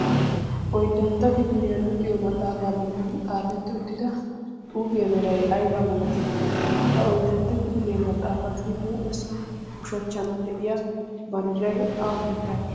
Oyddantta kifilyaa luxiyo maxafaa bolla xaafetti uttida xuufiya meray aybba milatti? Ha oyddantta kifiliya maxafaassi huuphessa ushshachchan de'iyaa banddiray awaa biittaage?